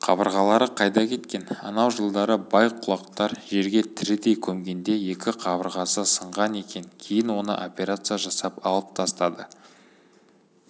қабырғалары қайда кеткен анау жылдары бай-құлақтар жерге тірідей көмгенде екі қабырғасы сынған екен кейін оны операция жасап алып тастады